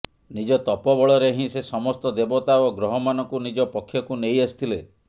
ନିଜ ତପ ବଳରେ ହିଁ ସେ ସମସ୍ତ ଦେବତା ଓ ଗ୍ରହମାନଙ୍କୁ ନିଜ ପକ୍ଷକୁ ନେଇ ଆସିଥିଲେ